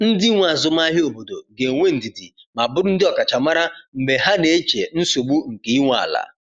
Ndị nwe azụmahịa obodo ga-enwe ndidi ma bụrụ ndị ọkachamara mgbe ha na-eche nsogbu nke ị nwe ala.